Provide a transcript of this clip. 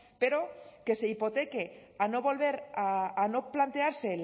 pero que se hipoteque a no volver a no plantearse